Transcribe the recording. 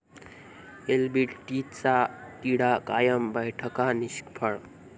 एलबीटीचा तिढा कायम, बैठका निष्फळ!